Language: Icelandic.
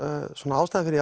ástæða fyrir